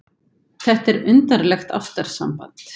Þetta er undarlegt ástarsamband!